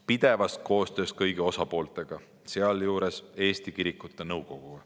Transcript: Pidevas koostöös kõigi osapooltega, sealjuures Eesti Kirikute Nõukoguga.